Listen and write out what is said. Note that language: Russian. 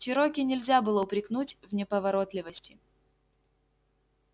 чероки нельзя было упрекнуть в неповоротливости